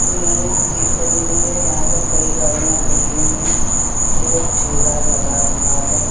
ये एक जीप खड़ी हुई है। यहाँ पर कई गाड़ियाँ खड़ी हुईं हैं। एक ठेला लगा हुआ है।